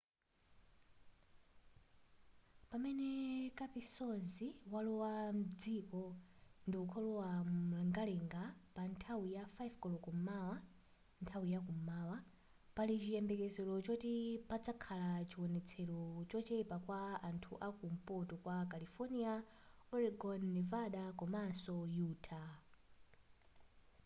pamene kapisozi walowa mdziko ndikulowa mumlengalenga pa nthawi ya 5 koloko m'mawa nthawi yakum'mawa pali chiyembekezero choti pazakhala chionetsero chochepa kwa anthu aku mpoto kwa california oregon nevada komaso utah